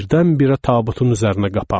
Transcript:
Birdən-birə tabutun üzərinə qapandı.